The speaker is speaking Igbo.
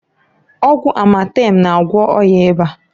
Ọgwụ amatem na-agwọ ọya ịba.